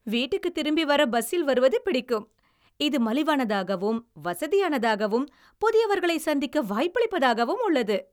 வீட்டுக்குத் திரும்பி வர பஸ்ஸில் வருவது பிடிக்கும். இது மலிவானதாகவும், வசதியானதாகவும் புதியவர்களைச் சந்திக்க வாய்ப்பளிப்பதாகவும் உள்ளது.